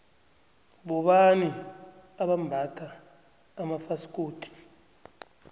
bobani abambatha amafasikodu